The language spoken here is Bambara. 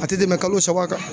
A tɛ tɛmɛ kalo saba kan.